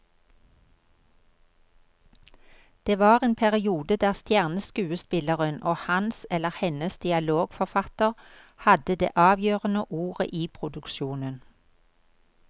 Det var en periode der stjerneskuespilleren og hans eller hennes dialogforfatter hadde det avgjørende ordet i produksjonen.